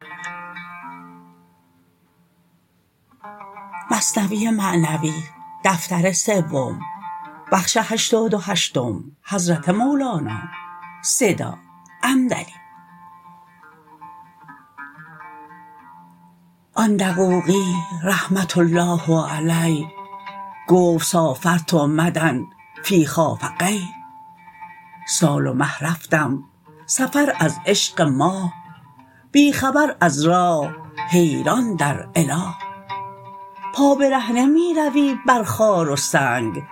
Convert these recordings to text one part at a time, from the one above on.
آن دقوقی رحمة الله علیه گفت سافرت مدی فی خافقیه سال و مه رفتم سفر از عشق ماه بی خبر از راه حیران در اله پا برهنه می روی بر خار و سنگ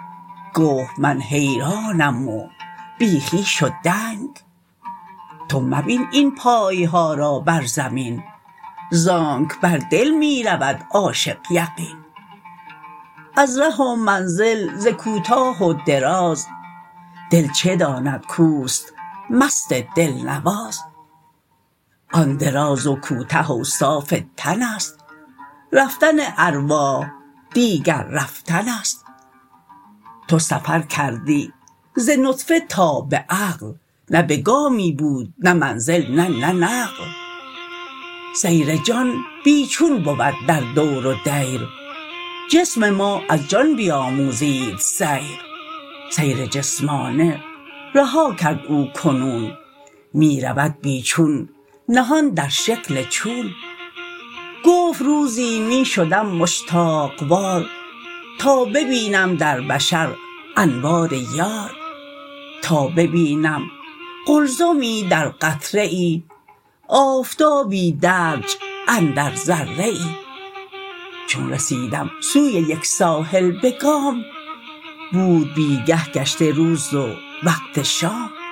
گفت من حیرانم و بی خویش و دنگ تو مبین این پایها را بر زمین زانک بر دل می رود عاشق یقین از ره و منزل ز کوتاه و دراز دل چه داند کوست مست دل نواز آن دراز و کوته اوصاف تنست رفتن ارواح دیگر رفتنست تو سفر کردی ز نطفه تا به عقل نه به گامی بود نه منزل نه نقل سیر جان بی چون بود در دور و دیر جسم ما از جان بیاموزید سیر سیر جسمانه رها کرد او کنون می رود بی چون نهان در شکل چون گفت روزی می شدم مشتاق وار تا ببینم در بشر انوار یار تا ببینم قلزمی در قطره ای آفتابی درج اندر ذره ای چون رسیدم سوی یک ساحل به گام بود بیگه گشته روز و وقت شام